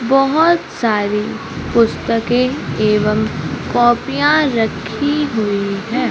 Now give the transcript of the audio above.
बहुत सारी पुस्तकें एवं कॉपियां रखी हुई हैं।